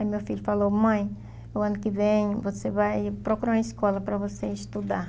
Aí meu filho falou, mãe, o ano que vem você vai procurar uma escola para você estudar.